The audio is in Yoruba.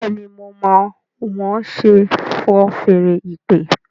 Béèni mọ má wón ṣe fọ́n Fèèrè ìpè?